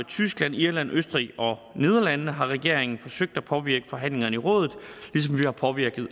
tyskland irland østrig og nederlandene har regeringen forsøgt at påvirke forhandlingerne i rådet ligesom vi har påvirket